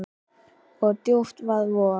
og djúpan vaða vog.